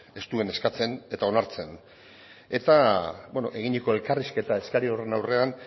ez duen eskatzen eta onartzen eta beno eginiko elkarrizketa eskari horren aurrean